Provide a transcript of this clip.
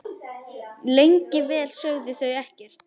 Lengi vel sögðu þau ekkert.